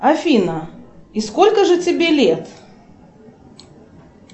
афина и сколько же тебе лет